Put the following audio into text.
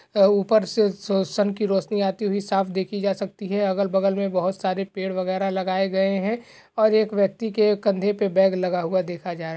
और ऊपर से स सन की रोशनी आते हुए साफ़ देखी जा सकती है। अगल-बगल में बोहोत सारे पेड़ वगैरा लगाए गए हैं और एक व्यक्ति के कंधे पर बैग लगा हुआ देखा जा --